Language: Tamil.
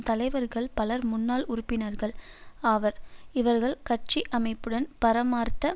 தலைவர்கள் பலர் முன்னாள் உறுப்பினர்கள் ஆவர் இவர்கள் கட்சி அமைப்புடன் மரபார்த்த